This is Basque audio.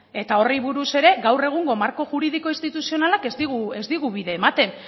eta horri buruz ere gaur egungo marko juridiko instituzionalak ez digu bide ematen